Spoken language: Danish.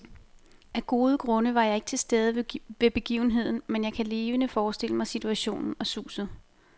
Af gode grunde var jeg ikke til stede ved begivenheden, men jeg kan levende forestille mig situationen og suset.